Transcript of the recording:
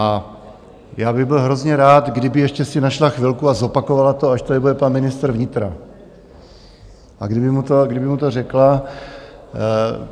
A já bych byl hrozně rád, kdyby ještě si našla chvilku a zopakovala to, až tady bude pan ministr vnitra, a kdyby mu to řekla.